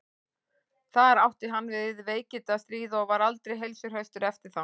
þar átti hann við veikindi að stríða og var aldrei heilsuhraustur eftir það